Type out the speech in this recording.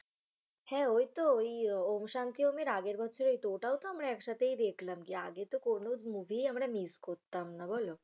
হ্যা ও তো ঔ'ম শান্তির আগের বছরের তো ওটাও তো আমরা একসাথে দেখলাম গিয়ে আগে তো কোন movie আমরা miss করতাম না বলো?